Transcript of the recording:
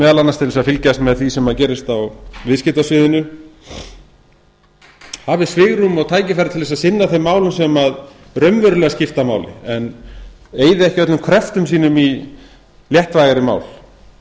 meðal annars til að fylgjast með því sem er að gerast á viðskiptasviðinu hafi svigrúm og tækifæri til að sinna þeim málum sem raunverulega skipta máli en eyða ekki öllum kröftum sínum í léttvægari mál